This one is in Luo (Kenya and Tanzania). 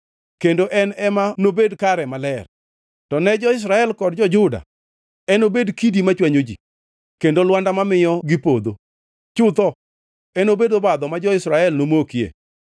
kendo en ema nobed kare maler; to ne jo-Israel kod jo-Juda, enobed kidi machwanyo ji kendo lwanda mamiyo gipodho. Chutho enobed obadho ma jo-Jerusalem nomokie.